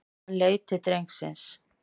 Hann leit til drengsins.